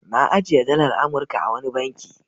Na ajiye dalar Amurka a wani banki.